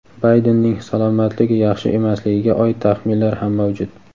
Baydenning salomatligi yaxshi emasligiga oid taxminlar ham mavjud.